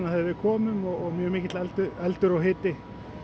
þegar við komum og mikill eldur og hiti